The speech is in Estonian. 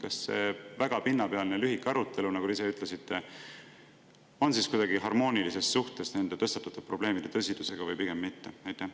Kas see väga pinnapealne lühike arutelu, nagu te ise ütlesite, on kuidagi harmoonilises suhtes nende tõstatatud probleemide tõsidusega või pigem mitte?